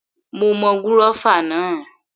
Mo mọ gúrọ́fà náà